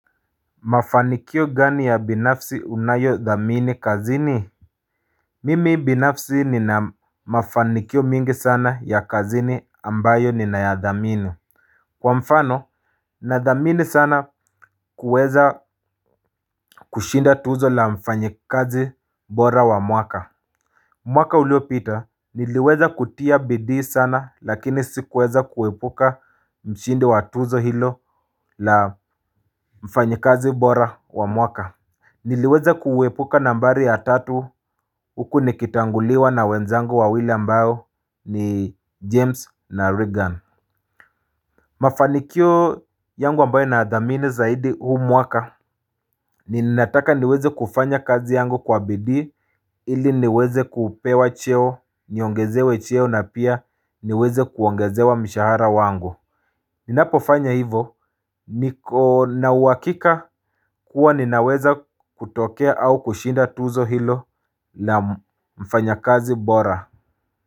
Mafanikio gani ya binafsi unayothamini kazini Mimi binafsi nina mafanikio mingi sana ya kazini ambayo ni na yadhamini. Kwa mfano na dhamini sana kuweza kushinda tuzo la mfanyikazi bora wa mwaka. Mwaka ulio pita niliweza kutia bidii sana lakini sikuweza kuepuka mshindi wa tuzo hilo la mfanyikazi bora wa mwaka niliweza kuepuka nambari ya tatu huku nikitanguliwa na wenzangu wawili ambao ni james na reagan. Mafanikio yangu ambayo nayadhamini zaidi huu mwaka. Ninataka niweze kufanya kazi yangu kwa bidii ili niweze kupewa cheo, niongezewe cheo na pia niweze kuongezewa mishahara wangu. Ninapo fanya hivo ninawakika kuwa ninaweza kutokea au kushinda tuzo hilo la mfanya kazi bora.